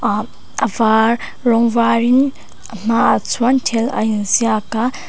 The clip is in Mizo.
ah a var rawng varin a hma ah chuan thil a inziak a.